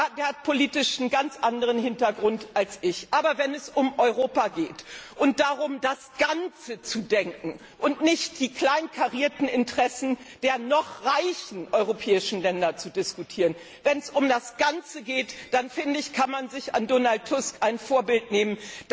Tusk. Er hat einen ganz anderen politischen Hintergrund als ich. Aber wenn es um Europa geht und darum, das Ganze zu denken und nicht die kleinkarierten Interessen der noch reichen europäischen Länder zu diskutieren, wenn es um das Ganze geht, dann finde ich, kann man sich an Donald Tusk ein Vorbild nehmen.